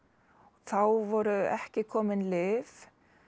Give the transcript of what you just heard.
þá voru ekki komin lyf